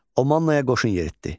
O Mannaya qoşun yeritdi.